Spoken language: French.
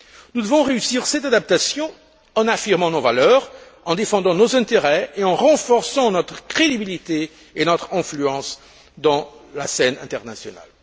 Nous devons réussir cette adaptation en affirmant nos valeurs, en défendant nos intérêts et en renforçant notre crédibilité et notre influence sur la scène internationale.